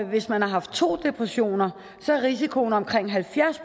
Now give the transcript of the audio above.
hvis man har haft to depressioner er risikoen omkring halvfjerds